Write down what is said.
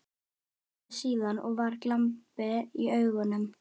Svaraði síðan, og var glampi í augunum